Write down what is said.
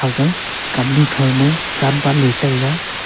aga kamnu throu ma chanbanley taiga.